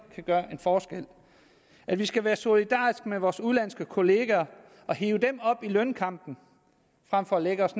kan gøre en forskel at vi skal være solidariske med vores udenlandske kollegaer og hive dem op i lønkampen frem for at lægge os